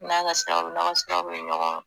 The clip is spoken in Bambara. N'an don n'an ka bɛ ɲɔgɔn kan.